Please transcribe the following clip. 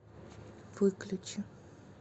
выключи